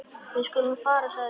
Við skulum fara sagði ég.